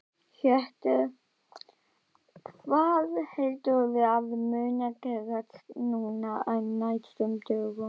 Hjörtur: Hvað heldurðu að muni gerast núna á næstu dögum?